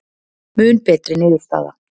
Mun betri niðurstaða